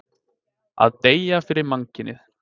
Að deyja fyrir mannkynið.